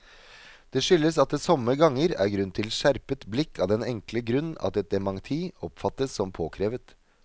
Det skyldes at det somme ganger er grunn til skjerpet blikk av den enkle grunn at et dementi oppfattes som påkrevet.